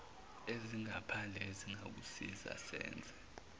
ezingaphandle esingakusiza senze